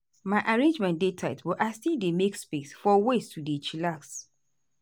my arrangement dey tight but i still dey make space for ways to dey chillax.